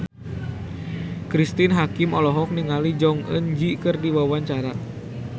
Cristine Hakim olohok ningali Jong Eun Ji keur diwawancara